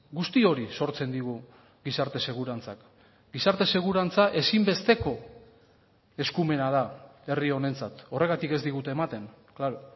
guzti hori sortzen digu gizarte segurantzak gizarte segurantza ezinbesteko eskumena da herri honentzat horregatik ez digute ematen klaro